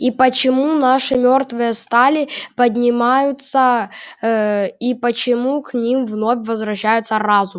и почему наши мёртвые стали поднимаются ээ и почему к ним вновь возвращается разум